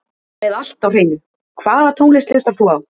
Með allt á hreinu Hvaða tónlist hlustar þú á?